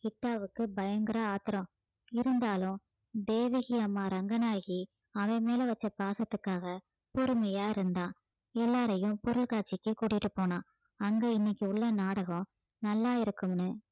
கிட்டாவுக்கு பயங்கர ஆத்திரம் இருந்தாலும் தேவகி அம்மா ரங்கநாயகி அவன் மேல வச்ச பாசத்துக்காக பொறுமையா இருந்தான் எல்லாரையும் பொருட்காட்சிக்கு கூட்டிட்டு போனான் அங்க இன்னைக்கு உள்ள நாடகம் நல்லா இருக்கும்னு